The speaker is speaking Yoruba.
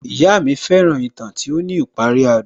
Ìyá mi fẹ́ràn ìtàn tí ó ní ìparí adùn